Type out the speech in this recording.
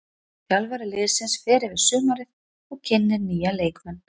Þjálfari liðsins fer yfir sumarið og kynnir nýja leikmenn.